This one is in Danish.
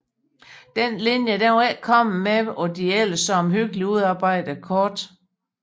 Denne linje var ikke kommet med på de ellers så omhyggeligt udarbejdede kort